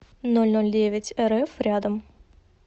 нольнольдевятьэрэф рядом